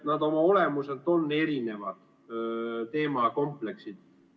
Nad oma olemuselt on erinevad teemakompleksid.